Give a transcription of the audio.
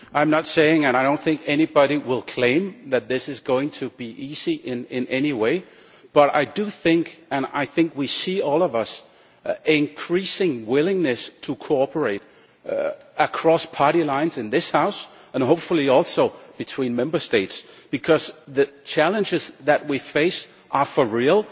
I am not saying and I do not think anybody will claim that this is going to be easy in any way, but I think we all see increasing willingness to cooperate across party lines in this house and hopefully also between Member States, because the challenges that we face are for real.